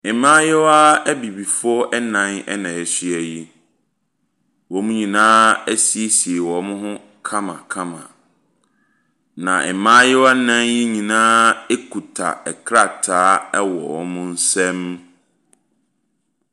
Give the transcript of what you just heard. Mmayewa abibifoɔ nan na ahyia yi. Wɔn nyinaa asiesie wɔn ho kamakama. Na mmaayewa nan nyinaa kita krataa wɔ wɔn nsam.